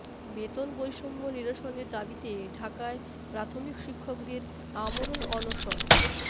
বেতন বৈষম্য নিরসনের দাবিতে ঢাকায় প্রাথমিক শিক্ষকদের আমরণ অনশন